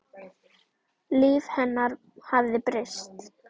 Líf hennar hafði breyst.